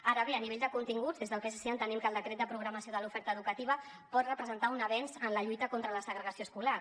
ara bé a nivell de continguts des del psc entenem que el decret de programació de l’oferta educativa pot representar un avenç en la lluita contra la segregació escolar